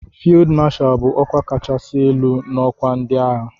"Field Marshal" bụ ọkwa kachasị elu n'ọkwa ndị agha.